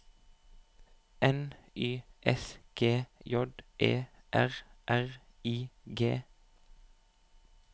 N Y S G J E R R I G